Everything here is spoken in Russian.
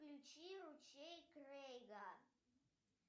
включи ручей крейга